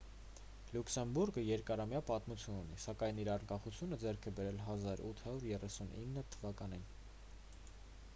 լյուքսեմբուրգը երկարամյա պատմություն ունի սակայն իր անկախությունը ձեռք է բերել 1839 թվականին